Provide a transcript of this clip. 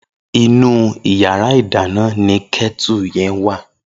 Inú iyàrá idàná ni kètú yen wá